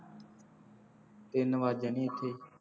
ਤਿੰਨ ਵੱਜ ਜਾਣੇ ਇੱਥੇ